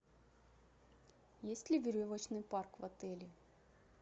есть ли веревочный парк в отеле